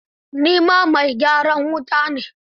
Ni mai gyaran wuta ne.